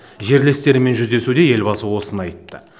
жерлестерімен жүздесуде елбасы осыны айтты